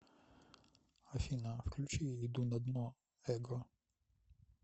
афина включи иду на дно эго